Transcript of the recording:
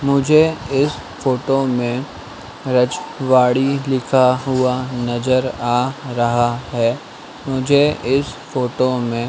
मुझे इस फोटो में रज वाड़ी लिखा हुआ नजर आ रहा है मुझे इस फोटो में--